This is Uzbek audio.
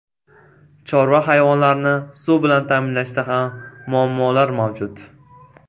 Chorva hayvonlarini suv bilan ta’minlashda ham muammolar mavjud.